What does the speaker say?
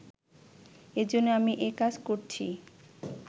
এজন্যই আমি এ কাজ করছি